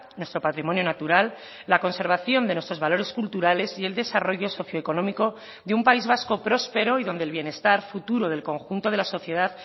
nuestro patrimonio natural la conservación de nuestros valores culturales y el desarrollo socioeconómico de un país vasco prospero y donde el bienestar futuro del conjunto de la sociedad